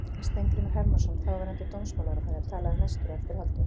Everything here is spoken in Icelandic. Steingrímur Hermannsson, þáverandi dómsmálaráðherra, talaði næstur á eftir Halldóri.